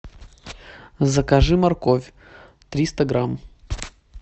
закажи морковь триста грамм